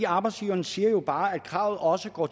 arbejdsgiveren siger jo bare at kravet også går